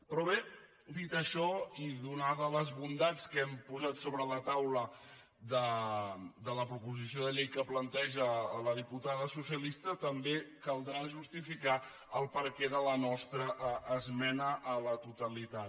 però bé dit això i ateses les bondats que hem posat sobre la taula de la proposició de llei que planteja la diputada socialista també caldrà justificar el perquè de la nostra esmena a la totalitat